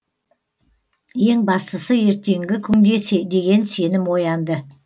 ең бастысы ертеңгі күнге деген сенім оянды